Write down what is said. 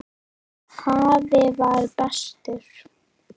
Afi var bestur.